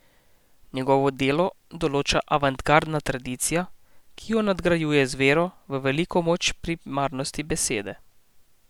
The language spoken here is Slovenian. Njegovo delo določa avantgardna tradicija, ki jo nadgrajuje z vero v veliko moč primarnosti besede.